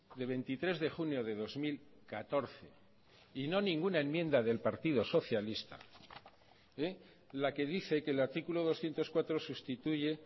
de veintitrés de junio de dos mil catorce y no ninguna enmienda del partido socialista la que dice que el artículo doscientos cuatro sustituye